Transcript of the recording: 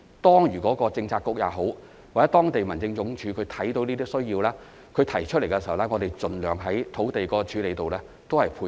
當政策局或當區民政事務處看到有這些需要，並提出有關事宜時，我們盡量在處理土地上配合。